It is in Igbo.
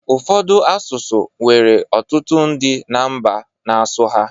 Ụfọdụ asụsụ nwere ọtụtụ ndị na mba n'asụ ha